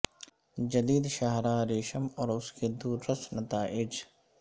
جدید شاہراہ ریشم اور اس کے دورس نتائج